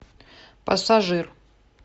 пассажир